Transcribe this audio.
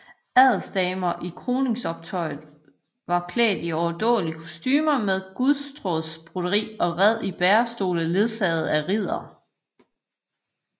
Adelsdamer i kroningsoptoget var klædt i overdådige kostumer med guldtråds broderi og red i bærestole ledsaget af riddere